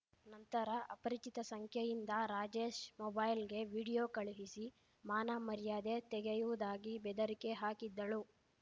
ನಂತರ ಅಪರಿಚಿತ ಸಂಖ್ಯೆಯಿಂದ ರಾಜೇಶ್‌ ಮೊಬೈಲ್‌ಗೆ ವಿಡಿಯೋ ಕಳುಹಿಸಿ ಮಾನಮಾರ್ಯದೆ ತೆಗೆಯುವುದಾಗಿ ಬೆದರಿಕೆ ಹಾಕಿದ್ದಳು